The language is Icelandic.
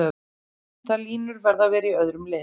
Þær línur verða að vera í öðrum lit.